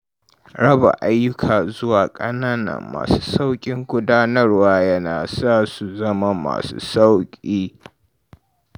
Raba ayyuka zuwa ƙanana, masu sauƙin gudanarwa yana sa su zama masu sauƙi.